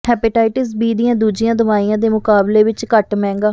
hepatitis B ਦੀਆਂ ਦੂਜੀਆਂ ਦਵਾਈਆਂ ਦੇ ਮੁਕਾਬਲੇ ਵਿੱਚ ਘੱਟ ਮਹਿੰਗਾ